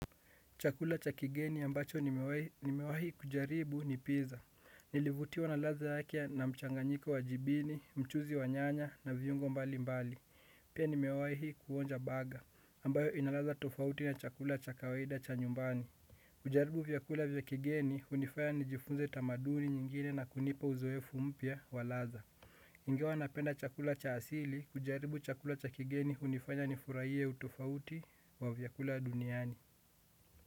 Chakula cha kigeni ambacho nimewahi kujaribu ni pizza. Nilivutiwa na ladha yake na mchanganyiko wa jibini, mchuzi wa nyanya na viungo mbali mbali. Pia nimewahi kuonja burger, ambayo ina ladha tofauti na chakula cha kawaida cha nyumbani. Kujaribu vyakula vya kigeni hunifanya nijifunze tamaduni nyingine na kunipa uzoefu mpya wa ladha. Ingawa napenda chakula cha asili, kujaribu chakula cha kigeni hunifanya nifurahie utofauti wa vyakula duniani.